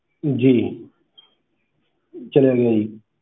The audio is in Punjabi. ਜੀ ਚਲਿਆ ਗਿਆ ਜੀ।